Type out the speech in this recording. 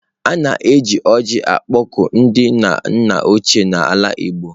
A na-eji ọjị akpọku ndị nna ochie na ala igbo.